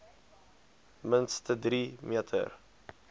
minste drie meter